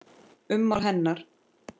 Ummál hennar